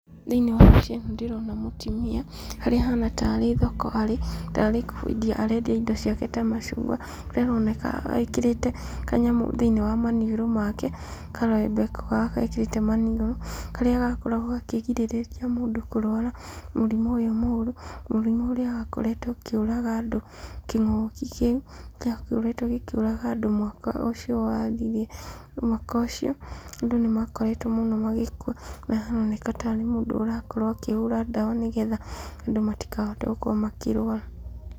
Thĩiniĩ wa mbica ĩno ndĩrona mũtumia, harĩa ahana tarĩ thoko arĩ ,tarĩ kwendia arendia indo ciake ta macungwa, kũrĩa aroneka ekĩrĩte kanyamũ thĩiniĩ wa maniũrũ make, karembeko ga karĩa ekĩrĩte maniũrũ, karĩa gakoragwo gakĩgirĩrĩria mũndũ kũrwara mũrimũ ũyũ mũru , mũrimũ ũrĩa wakoretwo ũkĩũraga andũ kĩng´ũki kĩu gĩakoretwo gĩkĩũraga andũ mwaka ũcio wathirire , mwaka ũcio andũ nĩmakoretwo mũno magĩkua, harĩa haroneka tarĩ mũndũ ũrakorwo akĩhũra ndawa, nĩgetha andũ matĩkahote gũkorwo makĩrwara.